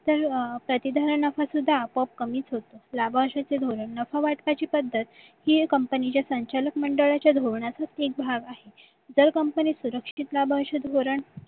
तर प्रती धरण नफा सुद्धा आपोआप कमीच होतो लाभावश्यकतेचा धोरण नफा वाचवायची पद्धत ही company च्या संचालक मंडळाच्या धोरणाचाच एक भाग आहे जर company सुरक्षित लाभावश्यक धोरण